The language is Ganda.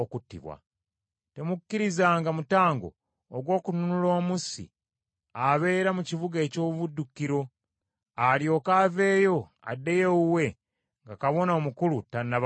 “ ‘Temukkirizanga mutango ogw’okununula omussi abeera mu kibuga eky’obuddukiro, alyoke aveeyo addeyo ewuwe nga Kabona Omukulu tannaba kufa.